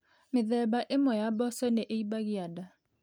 Mĩthemba ĩmwe ya mboco nĩ imbagia nda.